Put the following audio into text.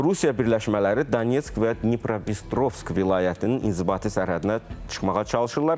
Rusiya birləşmələri Donetsk və Dnipropetrovsk vilayətinin inzibati sərhədinə çıxmağa çalışırlar.